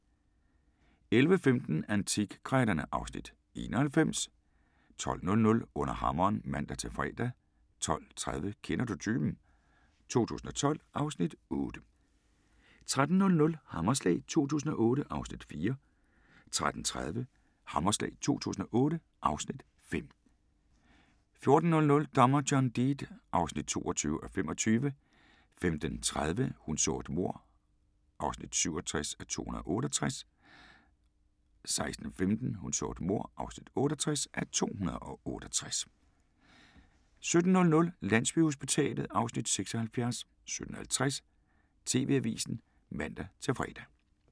11:15: Antikkrejlerne (Afs. 91) 12:00: Under hammeren (man-fre) 12:30: Kender du typen? 2012 (Afs. 8) 13:00: Hammerslag 2008 (Afs. 4) 13:30: Hammerslag 2008 (Afs. 5) 14:00: Dommer John Deed (22:25) 15:30: Hun så et mord (67:268) 16:15: Hun så et mord (68:268) 17:00: Landsbyhospitalet (Afs. 76) 17:50: TV-avisen (man-fre)